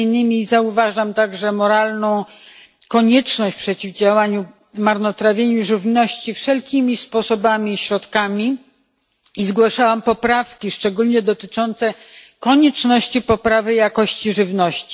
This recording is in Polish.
między innymi zauważam także moralną konieczność przeciwdziałania marnotrawieniu żywności wszelkimi sposobami i środkami oraz zgłosiłam poprawki szczególnie dotyczące konieczności poprawy jakości żywności.